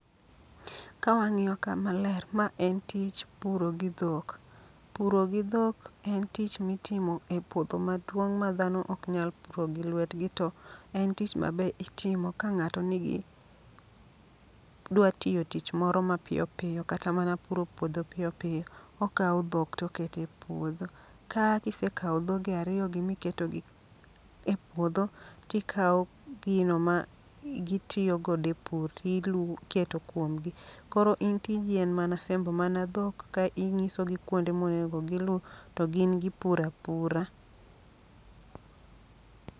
Ka wang'iyo ka maler, ma en tich puro gi dhok. Puro gi dhok en tich mitimo e puodho maduong' ma dhano ok nyal puro gi lwetgi. To en tich ma be itimo ka ng'ato nigi, dwa tiyo tich moro ma piyo piyo. Kata mana puro puodho piyo piyo, okawo dhok tokete puodho. Ka gisekawo dhoge ariyo gi miketogi e puodho, tikawo gina ma gitiyo godo e pur tilu keto kuom gi. Koro in tiji en mana sembo mana dhok ka inyisogi kuonde monego gilu, to gin gipura pura.